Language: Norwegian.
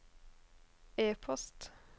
e-post